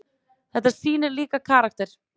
Þetta sýnir líka karakter.